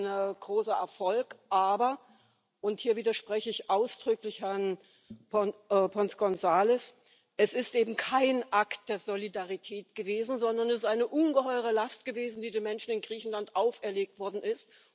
Das ist sein großer Erfolg, aber und hier widerspreche ich ausdrücklich Herrn González Pons es ist eben kein Akt der Solidarität gewesen, sondern es ist eine ungeheure Last gewesen, die den Menschen in Griechenland auferlegt worden ist.